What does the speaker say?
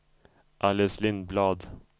Alice Lindblad